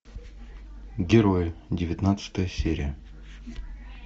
герои девятнадцатая серия